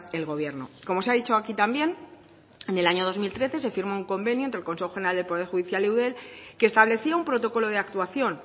el gobierno como se ha dicho aquí también en el año dos mil trece se firmó un convenio entre el consejo general del poder judicial y eudel que establecía un protocolo de actuación